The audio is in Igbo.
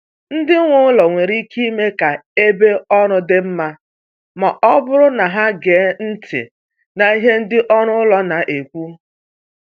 Ndị nwe ụlọ nwere ike ime ka ebe ọrụ dị mma ma ọ bụrụ na ha ege ntị n’ihe ndị ọrụ ụlọ na-ekwu.